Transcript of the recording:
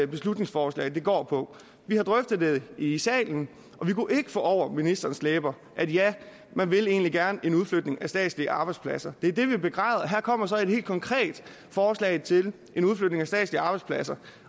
beslutningsforslag går på vi har drøftet det i salen og vi kunne ikke få over ministerens læber at ja man vil egentlig gerne en udflytning af statslige arbejdspladser det er det vi begræder her kommer så et helt konkret forslag til en udflytning af statslige arbejdspladser